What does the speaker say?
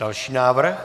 Další návrh.